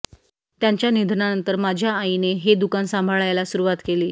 त्यांच्या निधनानंतर माझ्या आईने हे दुकान सांभाळायला सुरुवात केली